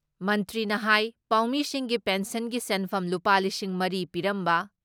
ꯃꯟꯇ꯭ꯔꯤꯅ ꯍꯥꯏ ꯄꯥꯎꯃꯤꯁꯤꯡꯒꯤ ꯄꯦꯟꯁꯟꯒꯤ ꯁꯦꯟꯐꯝ ꯂꯨꯄꯥ ꯂꯤꯁꯤꯡ ꯃꯔꯤ ꯄꯤꯔꯝꯕ